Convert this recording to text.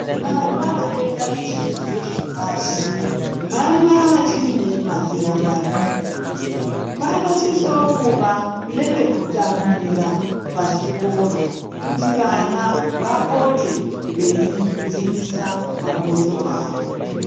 Vana vanoenda kuzvidzidzo zvepashi vana vachiri nemazera madiki .Panosisawo kuva nepekutambira pachikora kuti vana vapote veisimbisa mabhonzo avo .